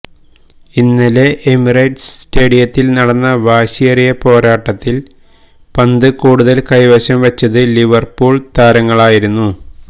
ഇന്നലെ എമിറേറ്റ്സ് സ്റ്റേഡിയത്തില് നടന്ന വാശിയേറി പോരാട്ടത്തില് പന്ത് കൂടുതല് കൈവശം വച്ചത് ലിവര്പൂള് താരങ്ങളായിരുന്നു